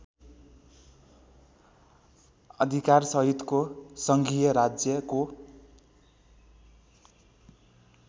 अधिकारसहितको सङ्घीय राज्यको